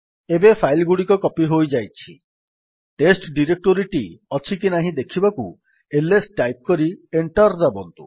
ଏବେ ଫାଇଲ୍ ଗୁଡିକ କପୀ ହୋଇଯାଇଛି ଟେଷ୍ଟ ଡିରେକ୍ଟୋରୀଟି ଅଛିକି ନାହିଁ ଦେଖିବାକୁ ଆଇଏସ ଟାଇପ୍ କରି ଏଣ୍ଟର୍ ଦାବନ୍ତୁ